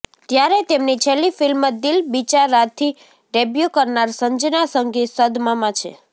ત્યારે તેમની છેલ્લી ફિલ્મ દિલ બેચારાથી ડેબ્યુ કરનાર સંજના સંઘી સદમામાં છે